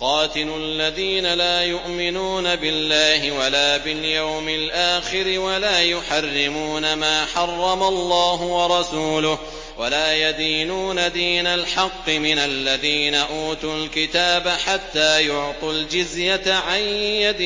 قَاتِلُوا الَّذِينَ لَا يُؤْمِنُونَ بِاللَّهِ وَلَا بِالْيَوْمِ الْآخِرِ وَلَا يُحَرِّمُونَ مَا حَرَّمَ اللَّهُ وَرَسُولُهُ وَلَا يَدِينُونَ دِينَ الْحَقِّ مِنَ الَّذِينَ أُوتُوا الْكِتَابَ حَتَّىٰ يُعْطُوا الْجِزْيَةَ عَن يَدٍ